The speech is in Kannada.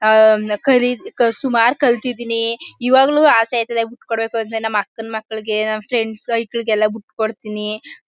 ಆ ಕರಿ ಸುಮಾರ್ ಕಲ್ತಿದ್ದೀನಿ ಇವಾಗ್ಲೂ ಅಸೆ ಆಯ್ತದೆ ಬಿಟ್ಟು ಕೊಡ್ಬೇಕು ಅಂತ ನಮ್ಮ್ ಅಕ್ಕನ ಮಕ್ಕಳಿಗೆ ನಮ್ಮ್ ಫ್ರೆಂಡ್ಸ್ ಹೈಕ್ಳಗಳಿಗೆ ಬಿಟ್ಟು ಕೊಡ್ತೀನಿ.